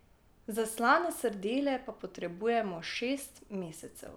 Za slane sardele pa potrebujemo šest mesecev.